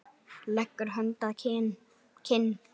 Leggur hönd að kinn.